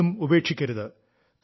കളികളും ഉപേക്ഷിക്കരുത്